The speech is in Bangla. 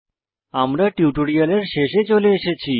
আমরা টিউটোরিয়ালের শেষে চলে এসেছি